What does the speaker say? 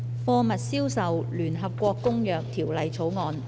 《貨物銷售條例草案》。